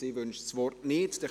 – Sie wünscht das Wort nicht.